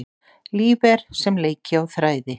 Líf er sem leiki á þræði.